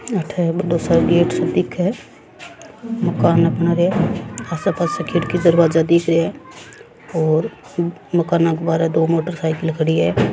अठे बड़ो सा गेट दिखे मकाना बना रहे पास पास खिड़की दरवाजा दिख रे है और मकाना के बाहर दो मोटरसाइकला खड़ी है।